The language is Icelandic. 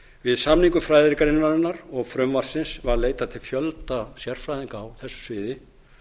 við samningu fræðigreinarinnar og frumvarpsins var leitað til fjölda sérfræðinga á þessu sviði